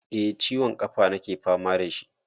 Eh ciwon ƙafa nake fama da shi.